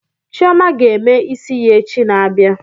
Chioma ga-eme isi ya echi na-abịa